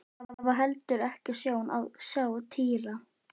Það var heldur ekki sjón að sjá Týra.